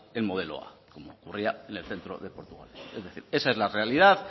el modelo a como ocurría en el centro de portugalete es decir esa es la realidad